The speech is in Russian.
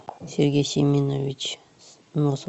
сергей семенович носов